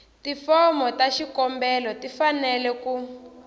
tifomo ta xikombelo tifanele ku